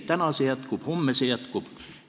Täna see jätkub, homme see jätkub.